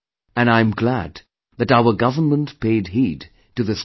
And I'm glad that our government paid heed to this matter